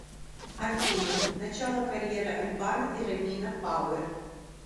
афина начало карьеры аль бано и ромина пауэр